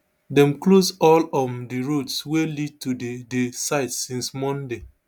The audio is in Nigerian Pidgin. dem close all um di roads wey lead to di di site since monday